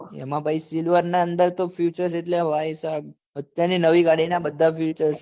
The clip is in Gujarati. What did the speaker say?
એમાં ભાઈ silver ના અંદર ત future એટલે ભાઈ સાહેબ અત્યાર ની નવી ગાડી ના બધા future એમાં